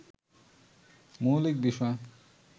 মৌলিক বিষয়